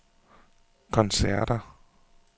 koncerter